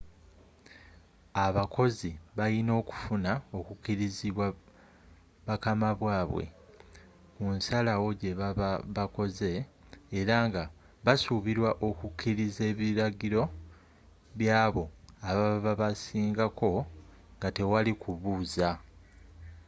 abakozi bayina okufuna okukirizibwa bakama babwe kunsalawo gyebaba bakoze era nga basubirwa okukiriza ebiragiro by'abo ababa babasingako nga tewali kubuza